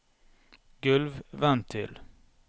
gulvventil